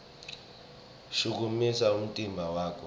shukumisa umtimba wakho